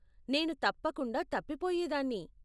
నేను తప్పకుండా తప్పిపోయేదాన్ని.